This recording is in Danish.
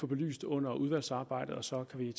belyst under udvalgsarbejdet og så kan vi